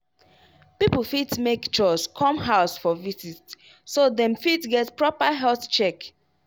people fit make chws come house for visit so dem fit get proper health check.